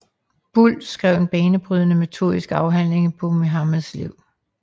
Buhl skrev en banebrydende metodisk afhandling Muhammeds Liv